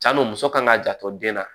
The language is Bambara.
Cani muso kan ka janto den na